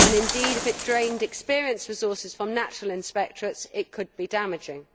Indeed, if it drained experienced resources from national inspectorates it could be damaging.